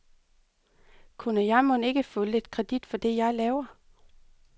Kunne jeg mon ikke få lidt kredit for det, jeg laver.